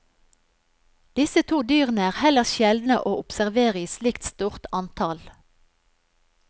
Disse to dyrene er heller sjeldne å observere i slikt stort antall.